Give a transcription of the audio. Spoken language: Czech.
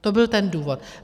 To byl ten důvod.